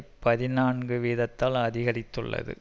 பதினான்கு வீதத்தால் அதிகரித்துள்ளது